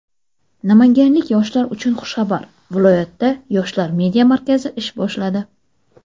Namanganlik yoshlar uchun xushxabar: viloyatda "Yoshlar media markazi" ish boshladi!.